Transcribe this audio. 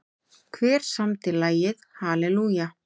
Hver samdi lagið Hallelujah?